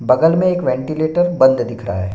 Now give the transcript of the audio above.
बगल मे एक वेंटिलेटर बंद दिख रहा है।